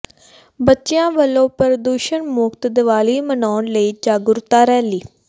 ਬੱਚਿਆਂ ਵਲੋਂ ਪ੍ਰਦੂਸ਼ਣ ਮੁਕਤ ਦੀਵਾਲੀ ਮਨਾਉਣ ਲਈ ਜਾਗਰੂਕਤਾ ਰੈਲੀ